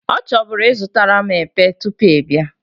O choburu izutaram epe tupu ị bia